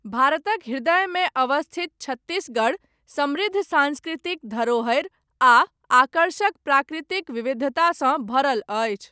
भारतक हृदयमे अवस्थित छत्तीसगढ़, समृद्ध साँस्कृतिक धरोहरि, आ आकर्षक प्राकृतिक विविधतासँ भरल अछि।